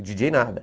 O djíi djêi nada.